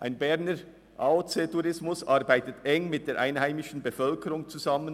Ein Berner AOC-Tourismus arbeitet eng mit der einheimischen Bevölkerung zusammen.